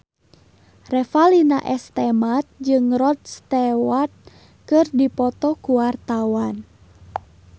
Revalina S. Temat jeung Rod Stewart keur dipoto ku wartawan